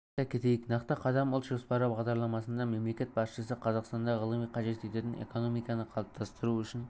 айта кетейік нақты қадам ұлт жоспары бағдарламасында мемлекет басшысы қазақстанда ғылымды қажет ететін экономиканы қалыптастыру үшін